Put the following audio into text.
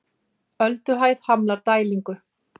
Ölduhæð hamlar dælingu